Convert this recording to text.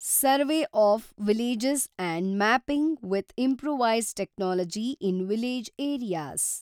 survey of village and mapping with improvised technology in village areas